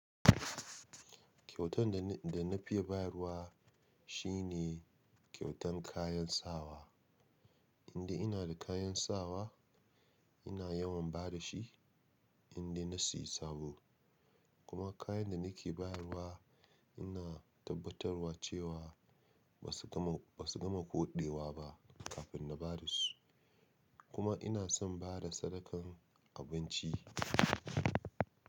Kyautan da na, da na fi bayarwa shi ne kyautan kayan sawa. Indai ina da kayan sawa ina yawan ba da shi, indai na seya sabo. Kuma kayan da nake bayarwa ina tabbatarwa cewa ba su gama, ba su gama koɗewa ba kafin na ba da su. Kuma ina son ba da sadakan abinci.